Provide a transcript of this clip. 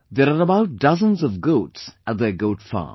There are about dozens of goats at their Goat Farm